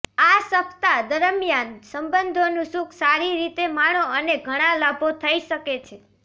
આ સપ્તાહ દરમિયાન સંબંધોનું સુખ સારી રીતે માણો અને ઘણા લાભો થઇ શકે છે